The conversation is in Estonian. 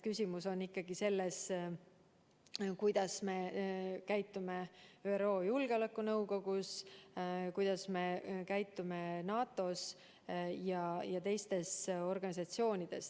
Küsimus on ikkagi selles, kuidas me käitume ÜRO Julgeolekunõukogus, kuidas me käitume NATO‑s ja teistes organisatsioonides.